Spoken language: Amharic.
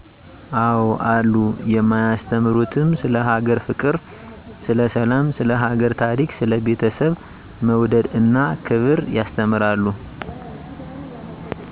አዎ አሉ የማያስተምሩትም ስለ ሀገር ፍቅር ስለ ሰላም ስለ ሀገር ታሪክ ስለ ቤተሰብ መውደድ እና ክብር ያስተምራሉ